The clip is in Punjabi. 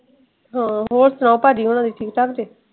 ਹੋਰ ਸੁਣਾਓ ਪਾਜੀ ਹੁਣਾ ਦੀ ਠੀਕ ਠਾਕ ਜੇ।